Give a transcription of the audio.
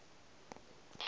ke be ke se ka